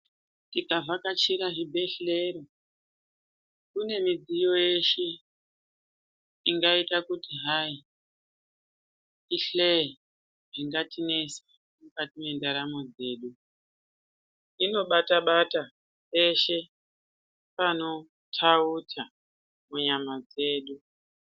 Tikavhakachira zvibhedhlera kune midziyo yeshe ingaita kutihai ihloye zvingatinesa mukati mwendaramo dzedu inobatabata peshe panothautha munyama dzedu.